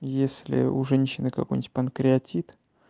если у женщины какой-нибудь панкреатит